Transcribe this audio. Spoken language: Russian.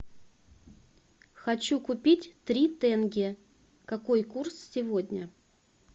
хочу купить три тенге какой курс сегодня